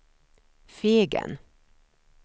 Fegen